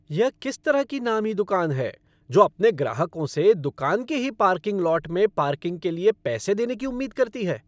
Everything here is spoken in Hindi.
यह किस तरह की नामी दुकान है जो अपने ग्राहकों से दुकान के ही पार्किंग लॉट में पार्किंग के लिए पैसे देने की उम्मीद करती है!